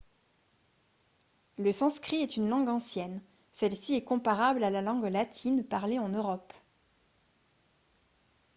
le sanskrit est une langue ancienne celle-ci est comparable à la langue latine parlée en europe